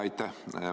Aitäh!